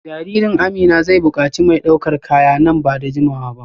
Jaririn Amina zai bukaci mai daukar kaya nan ba da jimawa ba